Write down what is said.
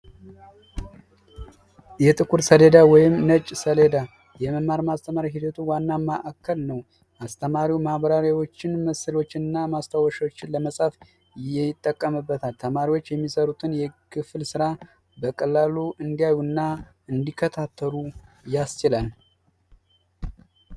የጥቁር ሰልዳ ወይም ነጭ ሴሌዳ የመማር ማስተማሩ ሂደቱ ዋና ክፍል ነው። አስተማሪው ማብራሪያዎችን፣ ምሳሌዎችንና ማስታወሻዎች ለመጻፍ ይጠቀምበታል። ተማሪዎች የሚሰሩትን የክፍል ስራ በቀላሉ እንዲያዩ እና እንዲከታተሉ ያስችላል።